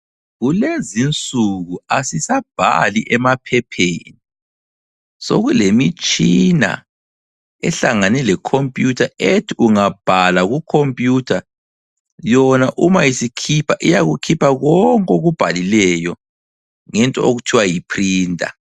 Kelezinsuku asisabhali emaphepheni sokulemitshina ehlangane le computer ethi ungabhala ku computer yona uma isikhipha iyakukhipha konke okubhalileyo ngento okuthwa yi printer.